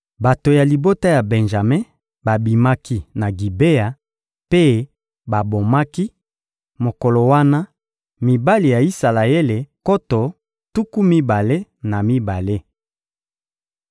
Bato ya libota ya Benjame babimaki na Gibea mpe babomaki, mokolo wana, mibali ya Isalaele nkoto tuku mibale na mibale.